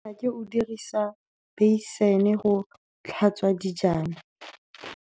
Nnake o dirisa beisene go tlhatswa dijana.